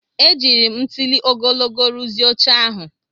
Ejiri m ntuli ogologo rụzie oche ahụ.